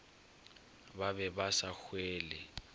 ba be ba sa hwele